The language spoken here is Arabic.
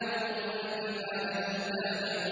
وَالْجِبَالَ أَوْتَادًا